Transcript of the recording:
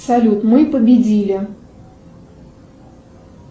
салют мы победили